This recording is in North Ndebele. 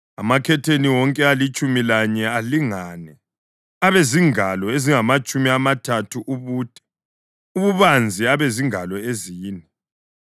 Amakhetheni wonke alitshumi lanye alingane, abezingalo ezingamatshumi amathathu ubude, ububanzi abezingalo ezine.